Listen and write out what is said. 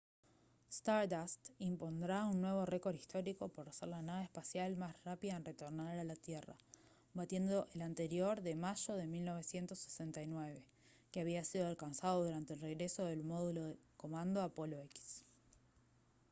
stardust impondrá un nuevo récord histórico por ser la nave espacial más rápida en retornar a la tierra batiendo el anterior de mayo de 1969 que había sido alcanzado durante el regreso del módulo de comando apolo x